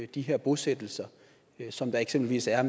de her bosættelser som der eksempelvis er